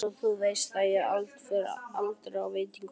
Einsog þú veist fer ég aldrei á veitingahús.